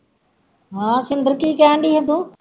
ਹਾਂ ਸ਼ਿੰਦਰ ਕੀ ਕਹਿਣ ਡੇਈ ਹੈਂ ਤੂੰ